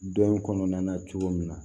Don in kɔnɔna na cogo min na